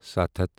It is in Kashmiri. سَتھ ہَتھ